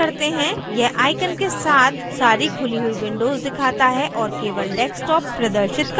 यह आइकन के साथ सारी खुली हुई windows दिखाता है और केवल desktop प्रदर्शित करता है